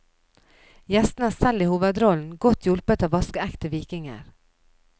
Gjestene er selv i hovedrollen, godt hjulpet av vaskeekte vikinger.